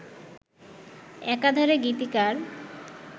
একাধারে গীতিকার